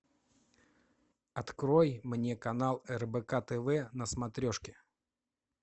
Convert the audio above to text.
открой мне канал рбк тв на смотрешке